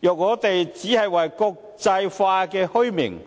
若我們只為了國際化的虛名，